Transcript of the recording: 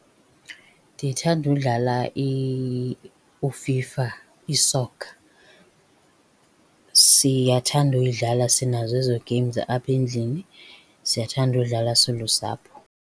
Ndithanda udlala u-FIFA, isokha. Siyathanda uyidlala, sinazo ezo games apha endlini. Siyathanda udlala silusapho.